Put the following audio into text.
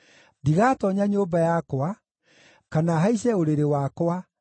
“Ndigatoonya nyũmba yakwa, kana haice ũrĩrĩ wakwa,